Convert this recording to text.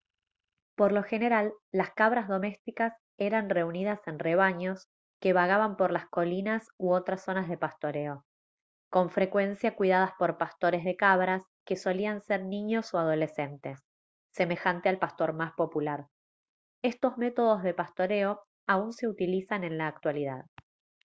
por lo general las cabras domésticas eran reunidas en rebaños que vagaban por las colinas u otras zonas de pastoreo con frecuencia cuidadas por pastores de cabras que solían ser niños o adolescentes semejante al pastor más popular estos métodos de pastoreo aún se utilizan en la actualidad